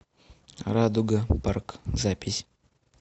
радуга парк запись